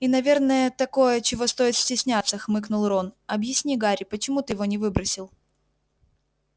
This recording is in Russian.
и наверное такое чего стоит стесняться хмыкнул рон объясни гарри почему ты его не выбросил